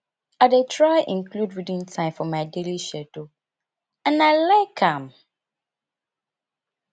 i dey try include reading time for my daily schedule and i like am